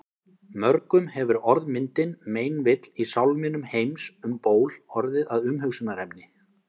Mörgum hefur orðmyndin meinvill í sálminum Heims um ból orðið að umhugsunarefni.